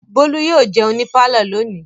Bólú yóò jẹun ní pálọ̀ lónìí.